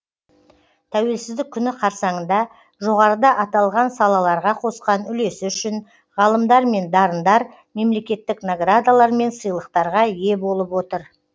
тәуелсіздік күні қарсаңында жоғарыда аталған салаларға қосқан үлесі үшін ғалымдар мен дарындар мемлекеттік наградалар мен сыйлықтарға ие болып отыр